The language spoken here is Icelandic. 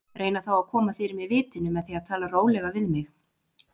Reyna þá að koma fyrir mig vitinu með því að tala rólega við mig.